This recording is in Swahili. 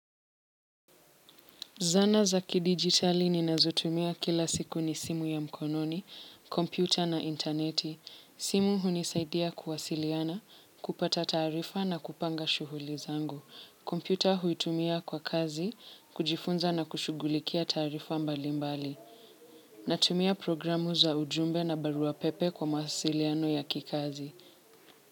Zana za kidigitali ninazotumia kila siku ni simu ya mkononi, kompyuta na interneti. Simu hunisaidia kuwasiliana, kupata taarifa na kupanga shuhuli zangu. Kompyuta huitumia kwa kazi, kujifunza na kushughulikia taarifa mbali mbali. Natumia programu za ujumbe na barua pepe kwa mawasiliano ya kikazi.